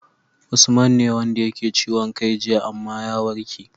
Usman ne wanda yake ciwon kai jiya amma ya warke